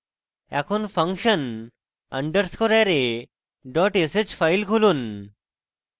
এখন function underscore array dot sh file খুলুন